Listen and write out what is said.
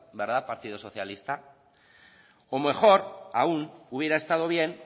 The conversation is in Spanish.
verdad partido socialista o mejor aún hubiera estado bien